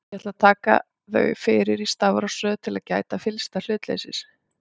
Ég ætla að taka þau fyrir í stafrófsröð til þess að gæta fyllsta hlutleysis.